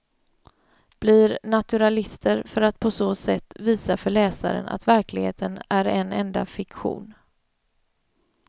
Blir naturalister för att på så sätt visa för läsaren att verkligheten är en enda fiktion.